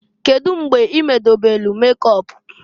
Kedu mgbe i medobelu mekọp?